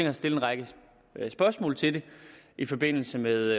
at stille en række spørgsmål til det i forbindelse med